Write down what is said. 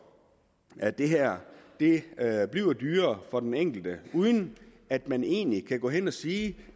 at det her det her bliver dyrere for den enkelte uden at man egentlig kan sige at